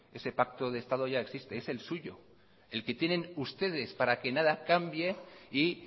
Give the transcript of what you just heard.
ese pacto de estado ya existe es el suyo el que tienen ustedes para que nada cambie y